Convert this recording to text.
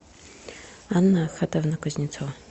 анна ахатовна кузнецова